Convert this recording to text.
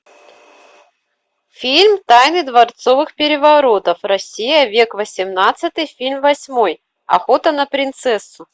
фильм тайны дворцовых переворотов россия век восемнадцатый фильм восьмой охота на принцессу